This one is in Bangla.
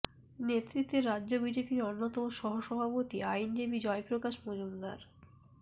নেতৃত্বে রাজ্য বিজেপির অন্যতম সহ সভাপতি আইনজীবী জয়প্রকাশ মজুমদার